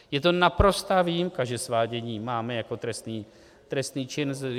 Je to naprostá výjimka, že svádění máme jako trestný čin.